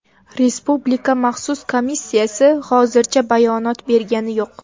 Respublika maxsus komissiyasi hozircha bayonot bergani yo‘q.